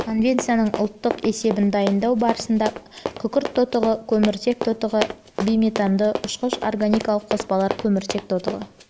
конвенцияның ұлттық есебін дайындау барысында күкірт тотығы көміртек тотығы бейметанды ұшқыш органикалық қоспалар көміртек тотығы